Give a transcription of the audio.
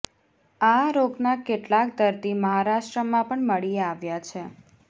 આ રોગના કેટલાક દર્દી મહારાષ્ટ્રમાં પણ મળી આવ્યા છે